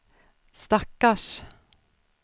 stackars